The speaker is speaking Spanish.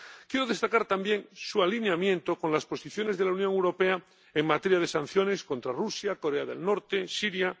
Quiero destacar también su alineamiento con las posiciones de la Unión Europea en materia de sanciones contra Rusia, Corea del Norte, Siria.